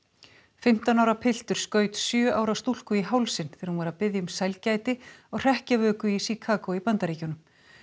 fimmtán ára piltur skaut sjö ára stúlku í hálsinn þegar hún var að biðja um sælgæti á hrekkjavöku í Chicago í Bandaríkjunum